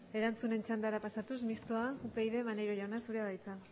erantzunen txandara pasatuz mistoa upyd maneiro jauna zurea da hitza